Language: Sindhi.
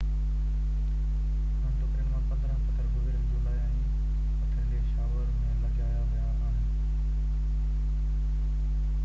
انهن ٽڪرين مان 15 پٿر گذريل جولاءِ ۾ پٿريلي شاور ۾ لڳايا ويا آهن